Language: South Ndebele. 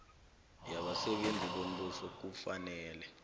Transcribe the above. yabasebenzi bombuso kufanele